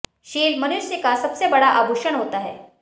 शील मनुष्य का सबसे बड़ा आभूषण होता है